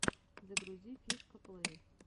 загрузи фишкаплэй